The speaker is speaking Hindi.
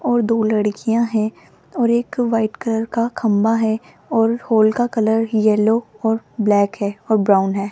और दो लड़कियां हैं और एक वाइट कलर का खंबा है और हॉल का कलर येलो और ब्लैक है और ब्राउन है।